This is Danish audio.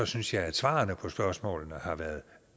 synes jeg at svarene på spørgsmålene har været